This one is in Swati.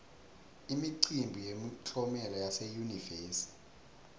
imicimbi yemiklomelo yase yunivesi